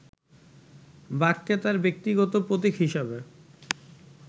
বাঘকে তার ব্যক্তিগত প্রতীক হিসাবে